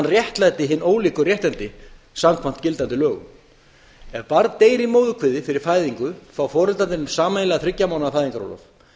réttlæti hin ólíku réttindi samkvæmt gildandi lögum ef barn deyr í móðurkviði fyrir fæðingu fá foreldrarnir sameiginlega þriggja mánaða fæðingarorlof